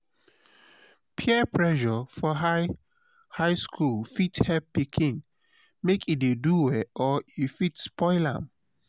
peer pressure for high high school fit help pikin make e dey do well or e fit spoil am.